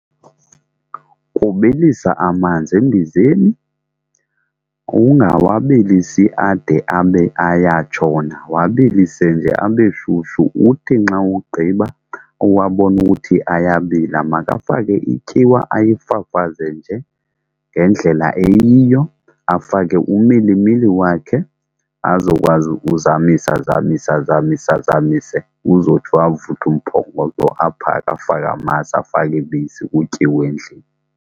Kubilisa amanzi embizeni, kukungawabilisi ade abe ayatshona. Wabilise nje abe shushu uthi nxa wugqiba uwabona ukuthi ayabila, makafake ityiwa ayifafaze nje ngendlela eyiyo, afake umilimili wakhe azokwazi ukuzamisa azamise azamise azamise uzotsho avuthwe umphokoqo, aphake afake amasi, afake ibisi kutyiwe endlini.